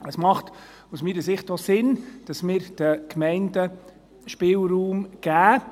Es macht aus meiner Sicht auch Sinn, dass wir den Gemeinden Spielraum geben.